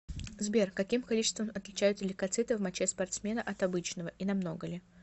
сбер каким количеством отличаются лейкоциты в моче спортсмена от обычного и намного ли